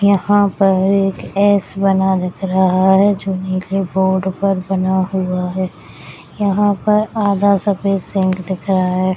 यहाँ पर एक एस बना दिख रहा है जो नीले बोर्ड पर बना हुआ है यहाँ पर आधा सफ़ेद सेंट दिख रहा है ।